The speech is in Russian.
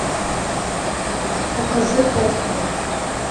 покажи постал